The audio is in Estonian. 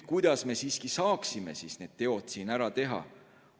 Kuidas me saaksime siis need teod ära teha?